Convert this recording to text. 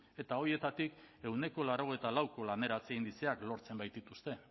eta horietatik ehuneko laurogeita lauko laneratze indizeak lortzen baitituzte